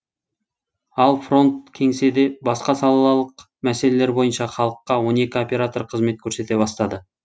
ал фронт кеңседе басқа салалық мәселелер бойынша халыққа он екі оператор қызмет көрсете бастады